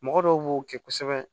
Mɔgɔ dɔw b'o kɛ kosɛbɛ